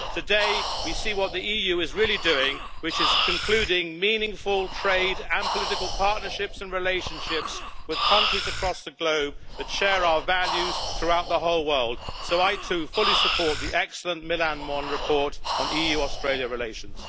Today, we see what the EU is really doing concluding meaningful trade and political partnerships and relationships with countries across the globe that share our values throughout the whole world, so I too fully support the excellent Millán Mon report on EU Australia relations.